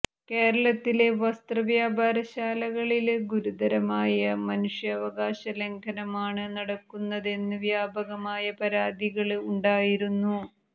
കേരളത്തിലെ വസ്ത്ര വ്യാപാരശാലകളില് ഗുരുതരമായ മനുഷ്യാവകാശ ലംഘനമാണ് നടക്കുന്നതെന്ന് വ്യാപകമായ പരാതികള് ഉണ്ടായിരുന്നു